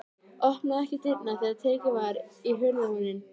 Opnaði ekki dyrnar þegar tekið var í hurðarhúninn.